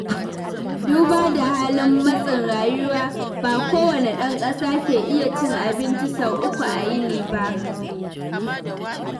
Duba da halin matsain rayuwa, ba kowane ɗan ƙasa ke iya cin abinci sau uku a yini ba.